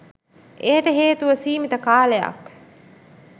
එයට හේතුව සීමිත කාලයක්